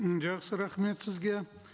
м жақсы рахмет сізге